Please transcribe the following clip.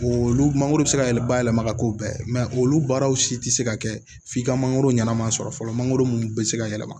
Olu mangoro bɛ se ka yɛlɛma yɛlɛma ka k'o bɛɛ ye olu baaraw si tɛ se ka kɛ f'i ka mangoro ɲɛnama sɔrɔ fɔlɔ mangoro minnu bɛ se ka yɛlɛma